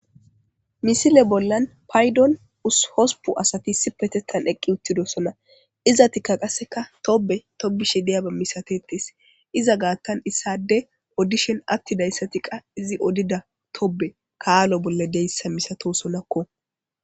Misile bollan paydon ushospu asatisi petettan eqqi uttidosona iza tikka qasseka tobe tobishe deyaba misatetes iza gaattan issade oddishen atti dayssa tiqa izi odida tobe kaalo bolla deyssa misato sonakko,